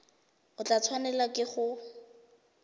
o tla tshwanelwa ke go